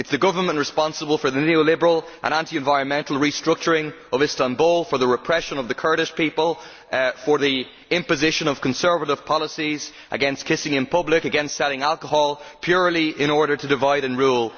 It is the government that is responsible for the neo liberal and anti environmental restructuring of Istanbul, for the repression of the Kurdish people and for the imposition of conservative policies against kissing in public and selling alcohol, purely in order to divide and rule.